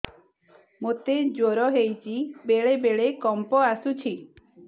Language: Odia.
ମୋତେ ଜ୍ୱର ହେଇଚି ବେଳେ ବେଳେ କମ୍ପ ଆସୁଛି